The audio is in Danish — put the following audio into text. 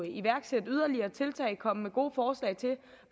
iværksætte yderligere tiltag og komme med gode forslag til